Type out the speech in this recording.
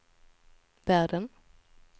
världen